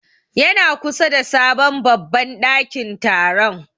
Ya na kusa da sabon babban ɗakin taron.